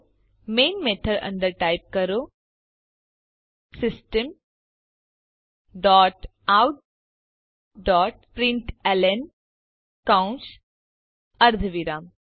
તો main method અંદર type કરો system dot out dot println કૌંશ અર્ધવિરામ